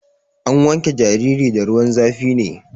Ana wanke jariri da ruwan zafi ne.